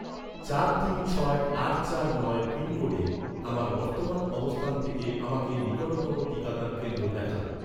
চার তিন ছয় আট চার নয় পিনকোডে, আমার বর্তমান অবস্থান থেকে আমাকে নিকটতম টিকাদান কেন্দ্র দেখান